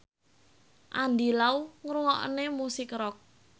Andy Lau seneng ngrungokne musik rock